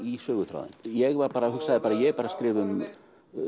í söguþráðinn ég hugsaði bara ég er að skrifa um